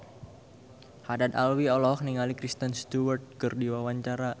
Haddad Alwi olohok ningali Kristen Stewart keur diwawancara